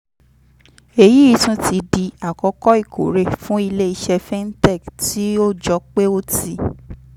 èyí tún ti di àkókò ìkórè fún ilé iṣẹ́ fintech tí ó jọ pé ó ti